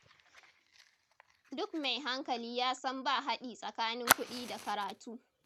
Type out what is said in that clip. Duk mai hankali ya san ba haɗi tsakanin kuɗi da karatu.